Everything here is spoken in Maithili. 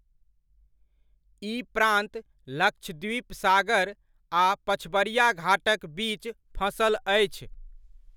ई प्रान्त लक्षद्वीप सागर आ पछबरिया घाटक बीच फँसल अछि।